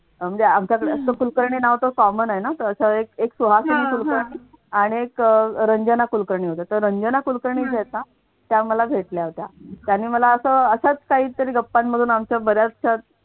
म्हणजे आमच्याकडे असं कुलकर्णी नाव तर common आहे ना तसं एक सुहासिनी कुलकर्णी आणि एक रंजना कुलकर्णी होत्या. तर रंजना कुलकर्णी त्याला भेटल्या होत्या. त्याने मला असं असंच काहीतरी गप्पामधून